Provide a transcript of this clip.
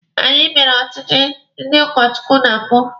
Anyi mere ọchịchị ndị ụkọ Chukwu na mbụ.